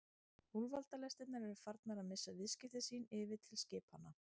Úlfaldalestirnar eru farnar að missa viðskipti sín yfir til skipanna.